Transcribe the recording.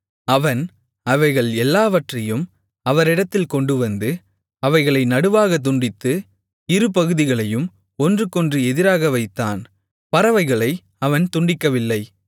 அவன் அவைகள் எல்லாவற்றையும் அவரிடத்தில் கொண்டுவந்து அவைகளை நடுவாகத் துண்டித்து இருபகுதிகளையும் ஒன்றுக்கொன்று எதிராக வைத்தான் பறவைகளை அவன் துண்டிக்கவில்லை